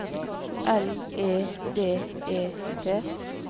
L E D E T